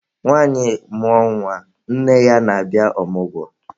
Nwanyị mmụọ nwa, nne ya na-abịa ọmụgwọ.